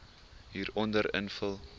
hieronder invul